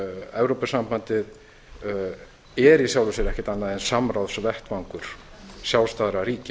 evrópusambandið er í sjálfu sér ekkert annað en samráðsvettvangur sjálfstæðra ríkja